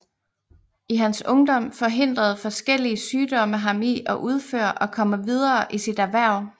I hans ungdom forhindrede forskellige sygdomme ham i at udføre og komme videre i sit erhverv